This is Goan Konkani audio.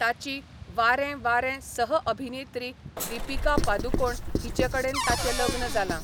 ताची वारें वारें सह अभिनेत्री दीपिका पादुकोण हिचेकडेन ताचें लग्न जालां.